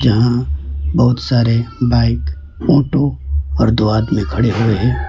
यहां बहुत सारे बाइक ऑटो और दो आदमी खड़े हुए हैं।